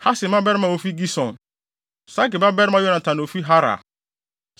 Hasem mmabarima a wofi Gison; Sage babarima Yonatan a ofi Harar.